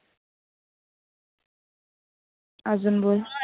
आजून बोल.